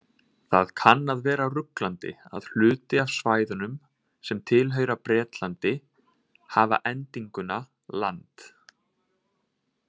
Það kann að vera ruglandi að hluti af svæðunum sem tilheyra Bretlandi hafa endinguna land.